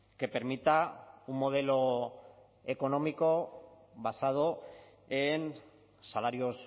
que permita un modelo económico basado en salarios